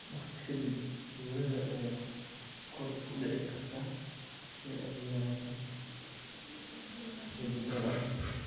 Waqti ka dib, huurada ayaa kor u kici karta si ay u yaraato xididadaada.